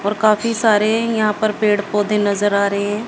और काफी सारे यहां पर पेड़ पौधे नजर आ रहे हैं।